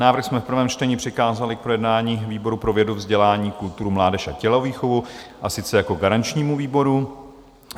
Návrh jsme v prvém čtení přikázali k projednání výboru pro vědu, vzdělání, kulturu, mládež a tělovýchovu, a sice jako garančnímu výboru.